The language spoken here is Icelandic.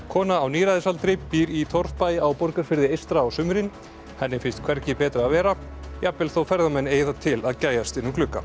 kona á níræðisaldri býr í torfbæ á Borgarfirði eystra á sumrin henni finnst hvergi betra að vera jafnvel þó ferðamenn eigi það til að gægjast inn um glugga